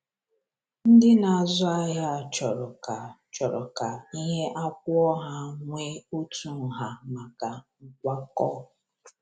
Ndị na-azụ ahịa chọrọ ka chọrọ ka ihe a kwụọ ha nwee otu nha maka nkwakọ.